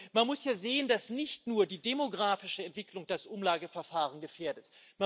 Man muss ja sehen, dass nicht nur die demografische Entwicklung das Umlageverfahren gefährdet.